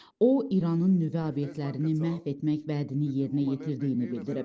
O İranın nüvə obyektlərini məhv etmək vədini yerinə yetirdiyini bildirib.